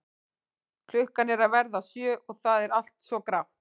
Klukkan er að verða sjö og það er allt svo grátt.